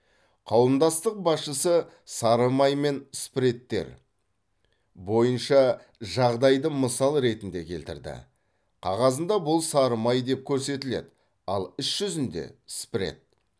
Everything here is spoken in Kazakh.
қауымдастық басшысы сары май мен спредтер бойынша жағдайды мысал ретінде келтірді қағазында бұл сары май деп көрсетіледі ал іс жүзінде спред